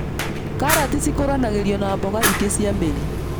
Karati cikũranagĩrio na mboga ingĩ cia mĩri,